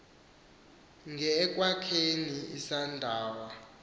nge ekwakheni isalathandawo